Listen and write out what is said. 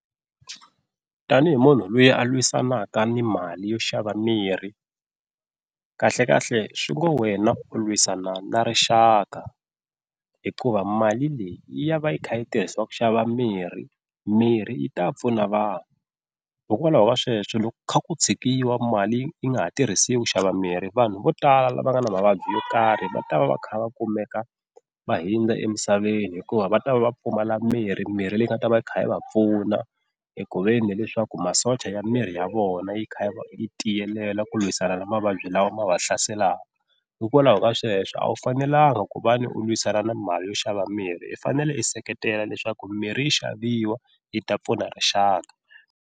Tanihi munhu loyi a lwisanaka ni mali yo xava mirhi kahlekahle swi ngo wena u lwisana na rixaka hikuva mali leyi yi ya va yi kha yi tirhisiwa ku xava mirhi mirhi yi ta pfuna vanhu hikokwalaho ka sweswo loko ku kha ku tshikiwa mali yi nga ha tirhisiwi xava mirhi, vanhu vo tala lava nga na mavabyi yo karhi va ta va va kha va kumeka va hundza emisaveni hikuva va ta va va pfumala mirhi, mirhi leyi nga ta va yi kha yi va pfuna hi ku veni leswaku masocha ya miri ya vona yi kha yi tiyelela ku lwisana na mavabyi lawa ma va hlaselaka, hikwalaho ka sweswo a wu fanelanga ku va ni u lwisana na mali yo xava mirhi i fanele i seketela leswaku mirhi yi xaviwa yi ta pfuna rixaka.